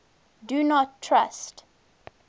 do not trust